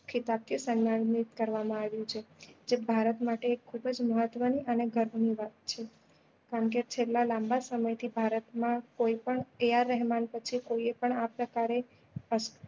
થી સન્માનિત કરવા માં આવ્યું છે જે ભારત માટે એક ખુબ જ મહત્વ નું અને ગર્વ ની વાત છે કારણ કે છેલ્લા લાંબા સમય થી ભારત માં કોઈ પણ એ આર રહેમાન પછી કોઈએ પણ આ પ્રકારે